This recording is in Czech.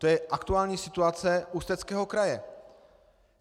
To je aktuální situace Ústeckého kraje.